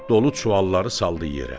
Dolu çuvalları saldı yerə.